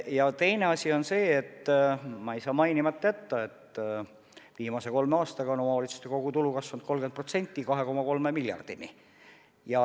Ja teine asi on see, ma ei saa mainimata jätta, et viimase kolme aastaga on omavalitsuste kogutulu kasvanud 30%, 2,3 miljardini.